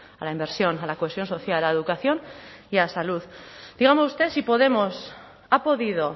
a la inversión a la cohesión social a la educación y a la salud dígame usted si podemos ha podido